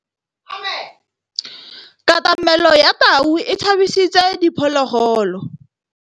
Katamêlô ya tau e tshabisitse diphôlôgôlô.